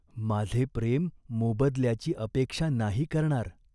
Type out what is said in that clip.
माझे प्रेम मोबदल्याची अपेक्षा नाही करणार.